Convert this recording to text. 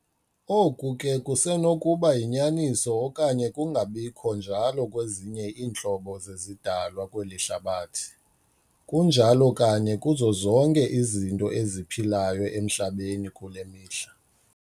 Oku ke kusenokuba yinyaniso okanye kungabikho njalo kwezinye iintlobo zezidalwa kweli hlabathi- Kunjalo kanye kuzo zonke izinto eziphilayo emHlabeni kule mihla.